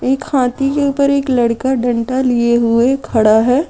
एक हाथी के ऊपर एक लड़का डंडा लिए हुए खड़ा है।